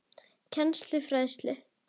Kennslu og fræðslu